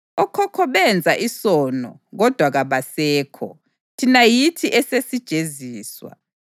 Okhokho benza isono kodwa kabasekho, thina yithi esesijeziswa.